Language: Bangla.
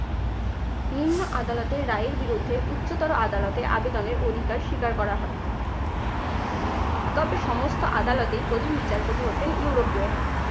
নিম্ন আদালতের রায়ের বিরুদ্ধে উচ্চতর আদালতে আবেদনের অধিকার স্বীকার করা হয়। তবে সমস্ত আদালতেই প্রধান বিচারপতি হতেন ইউরোপীয়রাই।